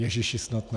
Ježíši, snad ne.